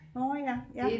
Nårh ja ja